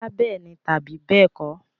Bóyá bẹ́ẹ̀ni tàbí bẹ́ẹ̀kọ́.